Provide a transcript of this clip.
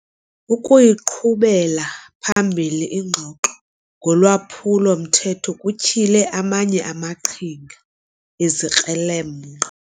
Ukuyiqhubela phambili ingxoxo ngolwaphulo-mthetho kutyhile amanye amaqhinga ezikrelemnqa.